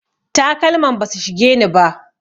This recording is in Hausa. Takalman basu shigeni ba.